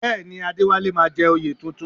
Bẹ́ẹ̀ ni, Adéwálé máa jẹ oyè tuntun